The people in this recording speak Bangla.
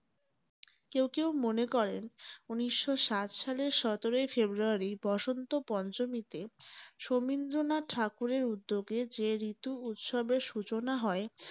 কেউ কেউ মনে করেন উনিশ শো সাত সালের সতেরোই ফেব্রুয়ারী বসন্ত পঞ্চমীতে সমীন্দ্রনাথ ঠাকুরের উদ্যোগে যে ঋতু উৎসবের সূচনা হয়